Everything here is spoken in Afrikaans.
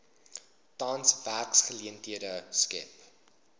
tans werksgeleenthede skep